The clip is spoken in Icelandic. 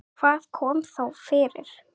Hvað kom þá fyrir?